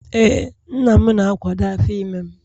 Ee, nna m na-akwado afọ ime m